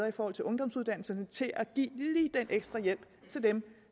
i forhold til ungdomsuddannelserne til at give lige den ekstra hjælp til dem